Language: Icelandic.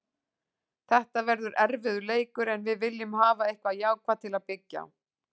Þetta verður erfiður leikur en við viljum hafa eitthvað jákvætt til að byggja á.